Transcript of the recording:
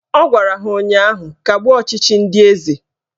Ọ gwara ha ụnyaahụ "Kagbuo ọchịchị ndị eze"